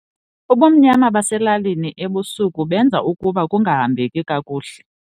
Ubumnyama baselalini ebusuku benza ukuba kungahambeki kakuhle.